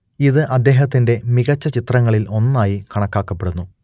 ഇതു അദ്ദേഹത്തിന്റെ മികച്ച ചിത്രങ്ങളിൽ ഒന്നായി കണക്കാക്കപ്പെടുന്നു